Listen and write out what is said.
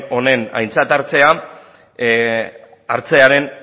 hau aintzat hartzearen